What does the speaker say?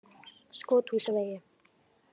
Skothúsvegi